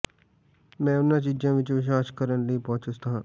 ਮੈਂ ਉਹਨਾਂ ਚੀਜ਼ਾਂ ਵਿੱਚ ਵਿਸ਼ਵਾਸ ਕਰਨ ਲਈ ਬਹੁਤ ਚੁਸਤ ਹਾਂ